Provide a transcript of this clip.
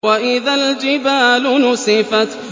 وَإِذَا الْجِبَالُ نُسِفَتْ